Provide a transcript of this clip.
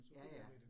Ja ja